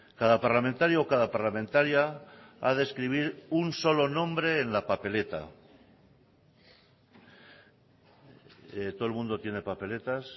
cada parlamentario o cada parlamentaria ha de escribir un solo nombre en la papeleta todo el mundo tiene papeletas